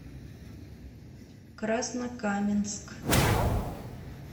краснокаменск